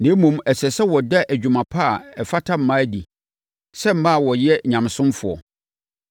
Na mmom, ɛsɛ sɛ wɔda adwuma pa a ɛfata mmaa adi sɛ mmaa a wɔyɛ nyamesomfoɔ.